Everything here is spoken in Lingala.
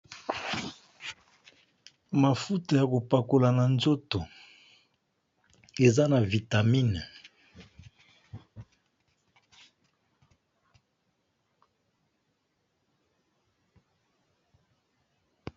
Mafuta yakopakola na nzoto eza na vitamine.